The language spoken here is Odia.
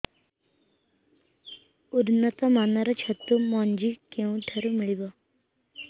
ଉନ୍ନତ ମାନର ଛତୁ ମଞ୍ଜି କେଉଁ ଠାରୁ ମିଳିବ